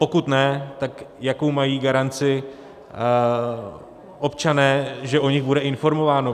Pokud ne, tak jakou mají garanci občané, že o nich bude informováno.